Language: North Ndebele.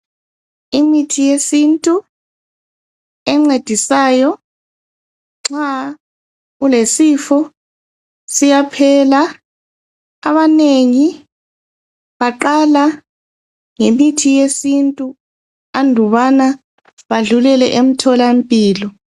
Imithi yesintu encedisayo nxa kulesifo, siyaphela abanengi baqala ngemithi yesintu andubana badlulele emtholampilo.